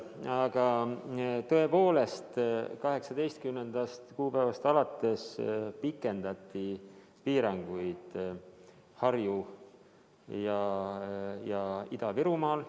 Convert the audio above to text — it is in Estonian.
Aga tõepoolest, 18. kuupäevast alates pikendati piiranguid Harju- ja Ida-Virumaal.